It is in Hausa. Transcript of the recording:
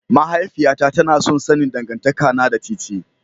Mahaifiyata tana son sanin dangantakana da TiTi.